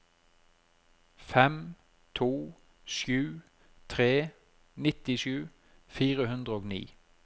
fem to sju tre nittisju fire hundre og ni